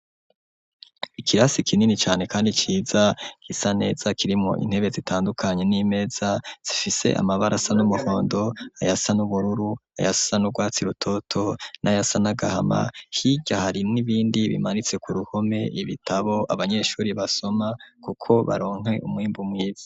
ikirasi kinini cane, kandi ciza, kisaneza kirimo intebe zitandukanye, n'imeza zifise amabara asa n'umuhondo, ayasa n'ubururu, ayasa n'urwatsi rutoto, n'ayasa nagahama, hirya hari n'ibindi bimanitse ku ruhome, ibitabo abanyeshuri basoma kuko baronke umwimbu mwiza.